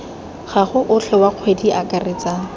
gago otlhe wa kgwedi akaretsa